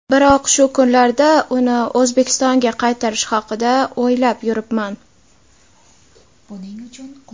Biroq shu kunlarda uni O‘zbekistonga qaytarish haqida o‘ylab yuribman.